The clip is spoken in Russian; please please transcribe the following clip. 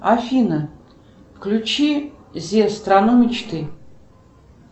афина включи зевс страну мечты